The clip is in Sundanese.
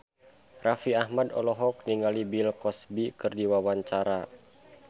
Raffi Ahmad olohok ningali Bill Cosby keur diwawancara